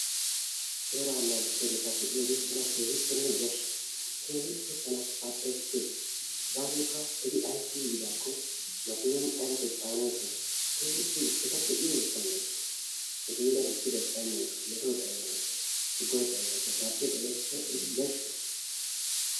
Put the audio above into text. Seera naagissiyagetta be"iyodde tanna keehippenne yashshes kehippe tana baccesises, gasoyikka etti ayssi yiddakko makkinan aybakko caanosona, kehippe etta be'yodde tanna yashshosona ettu heeran mettoy xayenna gishshawu tuggay xayeena gishshawu barchche xayeena tana etti yashshossona.